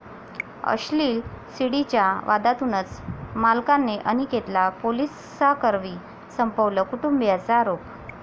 अश्लील सीडी'च्या वादातूनच मालकाने अनिकेतला पोलिसांकरवी संपवलं, कुटुंबियांचा आरोप